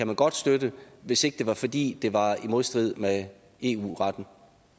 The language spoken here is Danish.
man godt støtte hvis ikke det var fordi det var i modstrid med eu retten